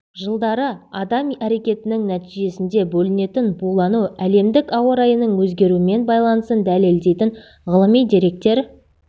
жылдары адам әрекетінің нәтижесінде бөлінетін булану әлемдік ауа райының өзгеруімен байланысын дәлелдейтін ғылми деректер